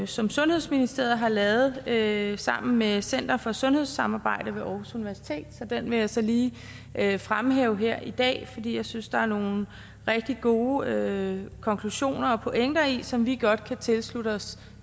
som sundhedsministeriet har lavet lavet sammen med center for sundhedssamarbejde ved aarhus universitet så den vil jeg så lige fremhæve her i dag fordi jeg synes der er nogle rigtig gode konklusioner og pointer i den som vi godt kan tilslutte os